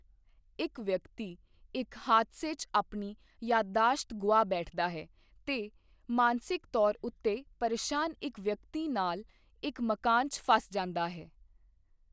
ਇੱਕ ਵਿਅਕਤੀ ਇੱਕ ਹਾਦਸੇ 'ਚ ਆਪਣੀ ਯਾਦਦਾਸ਼ਤ ਗੁਆ ਬੈਠਦਾ ਹੈ ਤੇ ਮਾਨਸਿਕ ਤੌਰ ਉੱਤੇ ਪਰੇਸ਼ਾਨ ਇੱਕ ਵਿਅਕਤੀ ਨਾਲ ਇੱਕ ਮਕਾਨ 'ਚ ਫਸ ਜਾਂਦਾ ਹੈ।